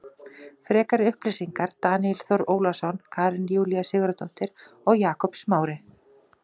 Frekari upplýsingar Daníel Þór Ólason Karen Júlía Sigurðardóttir og Jakob Smári.